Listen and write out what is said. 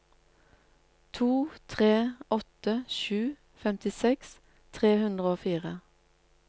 to tre åtte sju femtiseks tre hundre og fire